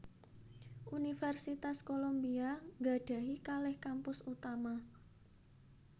Universitas Columbia nggadhahi kalih kampus utama